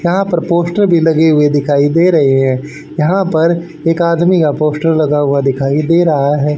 यहां पर पोस्टर भी लगे हुए दिखाई दे रहे हैं यहां पर एक आदमी का पोस्टर लगा हुआ दिखाई दे रहा है।